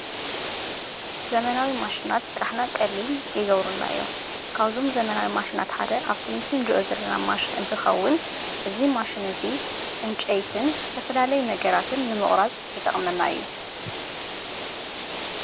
ዘመናዊ ማሽናት ሥራሕና ቐሊን ይገብሩናዮ ካውዞም ዘመናዊ ማሽናት ሓደ ኣብተምስን ድዑ ዘለና ማሽን እንት ኸውን እዝ ማሽን እዙይ እንጨይትን ዝተፈላለዩ ነገራትን ንምቑራጽ ይጠቕመና እዩ።